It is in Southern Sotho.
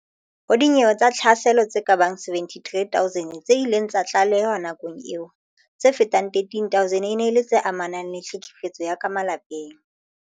Ho dinyewe tsa tlhaselo tse kabang 73 000 tse ileng tsa tlalehwa nakong eo, tse fetang 13000 e ne e le tse amanang le tlhekefetso ya ka malapeng.